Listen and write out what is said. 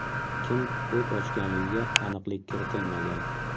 Kim o‘t ochganligiga aniqlik kiritilmagan.